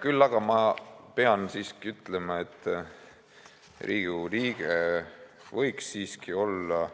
Küll aga pean siiski ütlema, et Riigikogu liige võiks olla